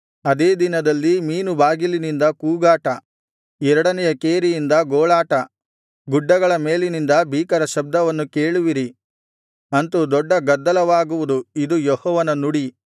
ಅದೇ ದಿನದಲ್ಲಿ ಮೀನುಬಾಗಿಲಿನಿಂದ ಕೂಗಾಟ ಎರಡನೆಯ ಕೇರಿಯಿಂದ ಗೋಳಾಟ ಗುಡ್ಡಗಳ ಮೇಲಿನಿಂದ ಭೀಕರ ಶಬ್ದವನ್ನು ಕೇಳುವಿರಿ ಅಂತು ದೊಡ್ಡ ಗದ್ದಲವಾಗುವುದು ಇದು ಯೆಹೋವನ ನುಡಿ